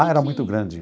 Ah, era muito grande.